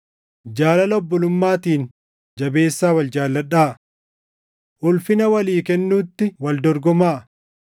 Jaalala obbolummaatiin jabeessaa wal jaalladhaa. Ulfina walii kennuutti wal dorgomaa.